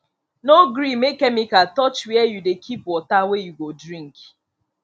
no gree make chemical touch where you dey keep water wey you go drink